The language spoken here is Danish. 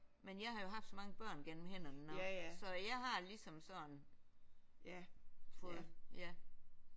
Men jeg har jo haft så mange børn gennem hænderne nu så jeg har ligesom sådan fået ja